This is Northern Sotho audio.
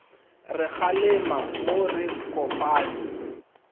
re kgalema mo re kopane